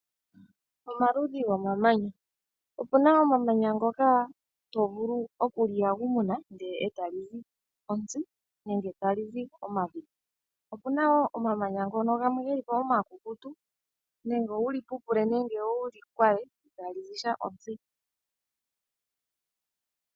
Omaludhi gomamanya, opuna omamanya ngoka hovulu okuli yagumuna nde etali li zi ontsi nenge tali zi omavi. Opuna wo omamanya ngono gamwe geli po omakukutu nenge wuli pupule nenge wuli kwale itali zi ontsi.